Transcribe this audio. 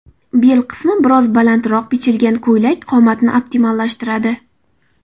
Bel qismi biroz balandroq bichilgan ko‘ylak qomatni optimallashtiradi.